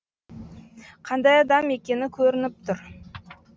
қандай адам екені көрініп тұр